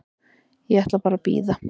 Ég ætla bara að bíða.